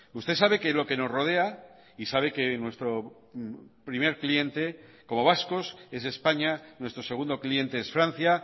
usted sabe que lo que nos rodea y sabe que nuestro primer cliente como vascos es españa nuestro segundo cliente es francia